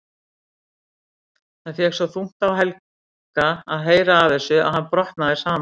Það fékk svo þungt á Helga að heyra af þessu að hann brotnaði saman.